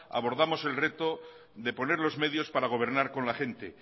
abordamos el reto de poner los medios para gobernar con la gente